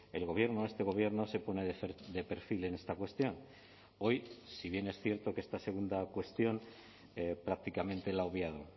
el gobierno este gobierno se pone de perfil en esta cuestión hoy si bien es cierto que esta segunda cuestión prácticamente la ha obviado